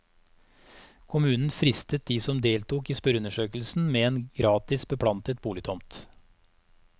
Kommunen fristet de som deltok i spørreundersøkelsen med en gratis beplantet boligtomt.